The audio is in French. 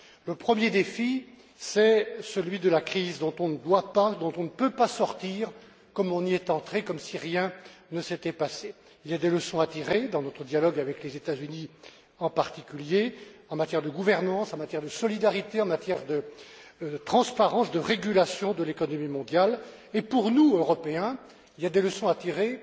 Le premier défi, c'est celui de la crise dont on ne doit pas dont on ne peut pas sortir comme on y est entré, comme si rien ne s'était passé. Il y a des leçons à tirer dans notre dialogue avec les États Unis en particulier, en matière de gouvernance, en matière de solidarité, en matière de transparence, de régulation de l'économie mondiale, et pour nous, Européens, il y a des leçons à tirer